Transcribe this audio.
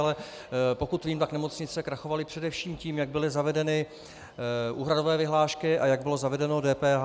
Ale pokud vím, tak nemocnice krachovaly především tím, jak byly zavedeny úhradové vyhlášky a jak bylo zavedeno DPH.